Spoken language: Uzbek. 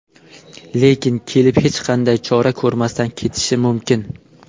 Lekin kelib, hech qanday chora ko‘rmasdan ketishi mumkin.